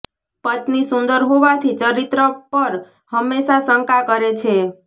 પત્ની સુંદર હોવાથી ચરિત્ર પર હંમેશા શંકા કરે છે